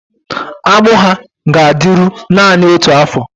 Agbụ ahụ ga-adịru naanị otu afọ